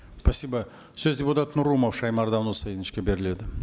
спасибо сөз депутат нұрымов шаймардан ұсайыновичке беріледі